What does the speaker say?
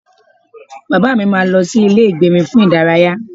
Bàbá mi máa lọ sí ilé ìgbérin fún ìdárayá